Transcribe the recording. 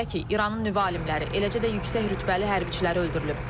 Belə ki, İranın nüvə alimləri, eləcə də yüksək rütbəli hərbçiləri öldürülüb.